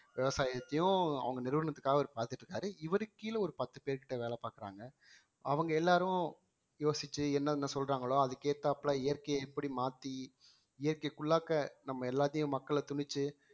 விவசாயத்தையும் அவங்க நிறுவனத்துக்காக அவர் பாத்துட்டு இருக்காரு இவருக்கு கீழ ஒரு பத்து பேர்கிட்ட வேலை பாக்குறாங்க அவங்க எல்லாரும் யோசிச்சு என்னென்ன சொல்றாங்களோ அதுக்கு ஏத்தாப்புல இயற்கையை எப்படி மாத்தி இயற்கைக்குள்ளாக்க நம்ம எல்லாத்தையும் மக்களை திணிச்சு